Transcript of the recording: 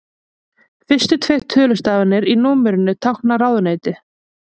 Fyrstu tveir tölustafirnir í númerinu tákna ráðuneyti.